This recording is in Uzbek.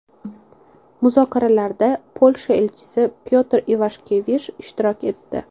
Muzokaralarda Polsha elchisi Pyotr Ivashkevish ishtirok etdi.